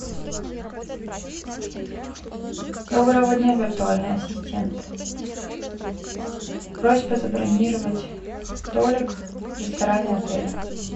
доброго дня виртуальный ассистент просьба забронировать столик в ресторане отеля